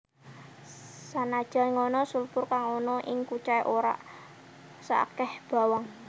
Sanajan ngono sulfur kang ana ing kucai ora saakeh bawang